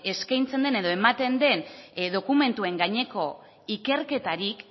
eskaintzen den edo ematen den dokumentuen gaineko ikerketarik